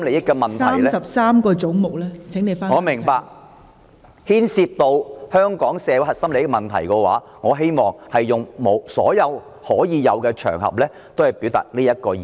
我明白，但如果牽涉到香港社會核心利益的問題，我希望利用所有的場合來表達這個意見。